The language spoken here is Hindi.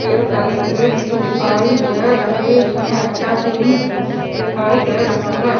पेड़ लगे हुए भी दिखाई दे रहे हैं अच्छा क्लीन दिखाई दे रहा है।